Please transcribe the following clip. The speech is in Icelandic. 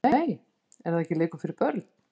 Nei er það ekki leikur fyrir börn????????